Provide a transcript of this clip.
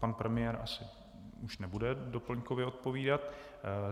Pan premiér už asi nebude doplňkově odpovídat.